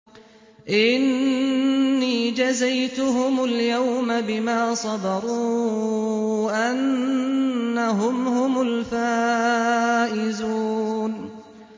إِنِّي جَزَيْتُهُمُ الْيَوْمَ بِمَا صَبَرُوا أَنَّهُمْ هُمُ الْفَائِزُونَ